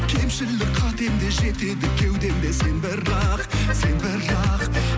кемшілік қатемде жетеді кеудемде сен бірақ сен бірақ